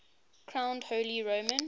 crowned holy roman